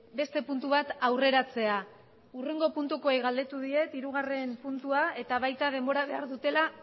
beste puntu bat aurreratzea hurrengo puntukoei galdetu diet hirugarren puntua eta baita denbora behar dutela